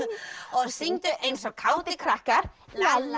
og syngdu eins og kátir krakkar la la